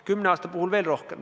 Kümne aasta puhul veel rohkem.